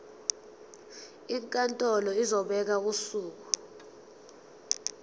inkantolo izobeka usuku